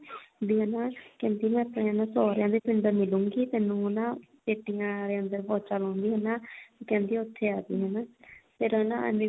ਵੀ ਹਨਾ ਕਹਿੰਦੀ ਮੈਂ ਨਾ ਆਪਣੇ ਸੋਹਰਿਆਂ ਦੇ ਪਿੰਡ ਮਿਲੂਂਗੀ ਤੈਨੂੰ ਨਾ ਪੇਟੀਆਂ ਆਲੇ ਅੰਦਰ ਪੋਚਾ ਲਾਉਂਦੀ ਹੋਈ ਨਾ ਉਹ ਕਹਿੰਦੀ ਉੱਥੇ ਆਜੀ ਹਨਾ ਫਿਰ ਹਨਾ ਐਮੀ ਵਿਰਕ